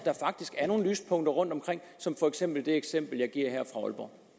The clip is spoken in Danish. nogle lyspunkter rundt omkring som det eksempel jeg giver her fra aalborg